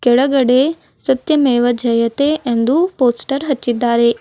ಕೆಳಗಡೆ ಸತ್ಯಮೇವ ಜಯತೆ ಎಂದು ಪೋಸ್ಟರ್ ಹಚ್ಚಿದ್ದಾರೆ.